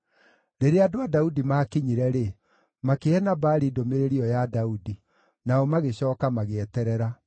Rĩrĩa andũ a Daudi maakinyire-rĩ, makĩhe Nabali ndũmĩrĩri ĩyo ya Daudi. Nao magĩcooka magĩeterera.